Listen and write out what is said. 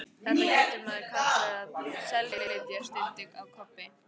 Þetta getur maður kallað að SELflytja, stundi Kobbi.